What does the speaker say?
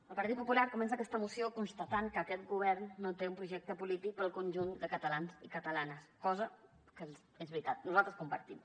el partit popular comença aquesta moció constatant que aquest govern no té un projecte polític per al conjunt de catalans i catalanes cosa que és veritat nosaltres compartim